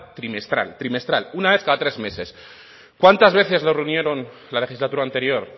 trimestral trimestral una vez cada tres meses cuántas veces lo reunieron la legislatura anterior